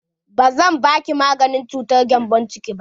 Ba zan baki maganin cutar gembon ciki ba!